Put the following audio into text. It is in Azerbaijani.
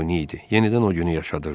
Yenidən o günü yaşadırdı.